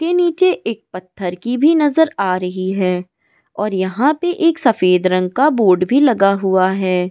के नीचे एक पत्थर की भी नजर आ रही है और यहां पर एक सफेद रंग का बोर्ड भी लगा हुआ है ।